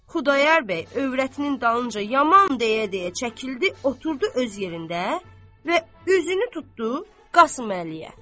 Xudayar bəy övrətinin dalınca yaman deyə-deyə çəkildi, oturdu öz yerində və üzünü tutdu Qasım Əliyə.